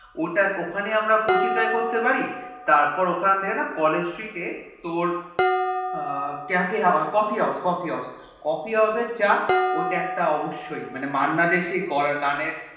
ওটা ওখানে আমরা কচুরি Try করতে পারি তারপর ওখান থেকে না College street এ তোর এর তোর cafe coffee house coffee house coffee house এর চা ওটা একটা অবশ্যই মান্না দের সেই করা গান এ